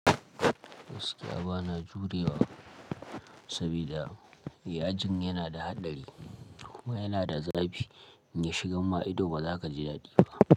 Gaskia bana jurewa sabida yajin yana da haɗari, kuwa yana da zafi in ya shiga ma ido ba za ka ji daɗi ba.